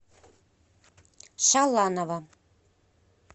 шаланова